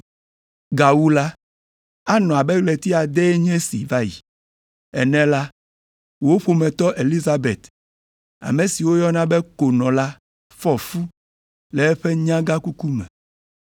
Gawu la, anɔ abe ɣleti adee nye esi va yi ene la, wò ƒometɔ Elizabet, ame si woyɔna be ‘konɔ’ la fɔ fu le eƒe nyagãkuku me.